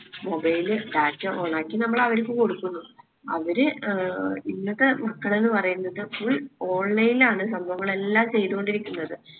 mobile data on ആക്കി നമ്മൾ അവർക്ക് കൊടുക്കുന്നു. അവര് ഏർ ഇന്നത്തെ മക്കള് ന്ന്‌ പറയുന്നത് full online ആണ് സംഭവങ്ങളെല്ലാം ചെയ്ത കൊണ്ടിരിക്കുന്നത്